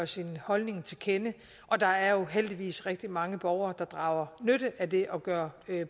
sin holdning til kende og der er jo heldigvis rigtig mange borgere der drager nytte af det og gør